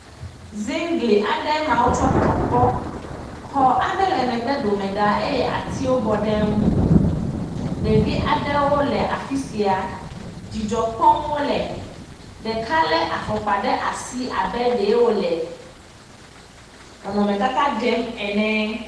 Ziŋgli aɖe eme wotsɔ tɔ kpɔ. Xɔ aɖe le megbe dome ɖaa eye atiwo bɔ ɖe eŋu. Ɖevi aɖewo le afi sia. Dzidzɔ kpɔm wole, ɖeka lé afɔkpa ɖe asi abe ɖe wole nɔnɔmetata ɖem ene.